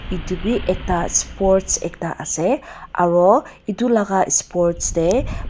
edu bi ekta sports ekta ase aro edu laka sports tae.